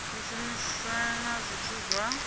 u shumiswa na zwithu zwa